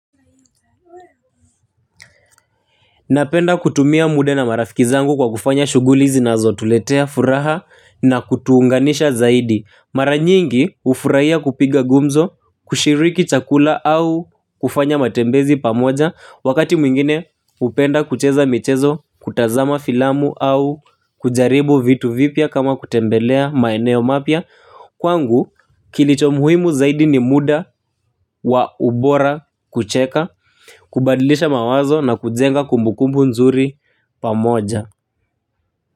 Napenda kutumia muda na marafiki zangu kwa kufanya shuguli zinazotuletea furaha na kutuunganisha zaidi. Mara nyingi ufurahia kupiga gumzo, kushiriki chakula au kufanya matembezi pamoja. Wakati mwingine upenda kucheza mchezo, kutazama filamu au kujaribu vitu vipya kama kutembelea maeneo mapia kwangu kilicho muhimu zaidi ni muda wa ubora kucheka kubadilisha mawazo na kujenga kumbukumbu nzuri pamoja.